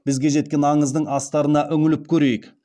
бізге жеткен аңыздың астарына үңіліп көрейік